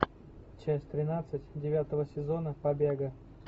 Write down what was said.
часть тринадцать девятого сезона побега